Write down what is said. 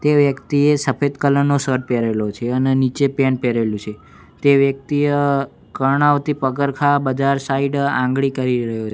તે વ્યક્તિએ સફેદ કલર નો શર્ટ પેરેલો છે અને નીચે પેન્ટ પેરેલું છે તે વ્યક્તિએ કર્ણાવતી પગારખા બજાર સાઈડ આંગળી કરી રહ્યો--